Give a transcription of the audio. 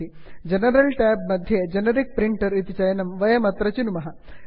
general Tab general tab मध्ये generic printer generic printer इति विकल्पं वयमत्र चिनुमः